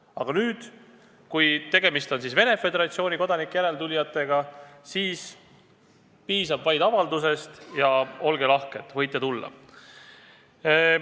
Aga nüüd, kui tegemist on Venemaa Föderatsiooni kodanike järeltulijatega, siis piisab vaid avaldusest, ja olge lahked, võite tulla!